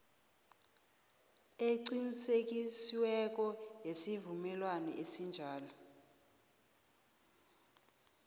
eqinisekisiweko yesivumelwano esinjalo